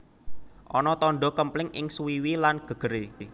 Ana tandha kempling ing suwiwi lan gegere